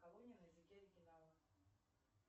колония на языке оригинала